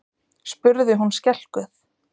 spurði hún skelkuð.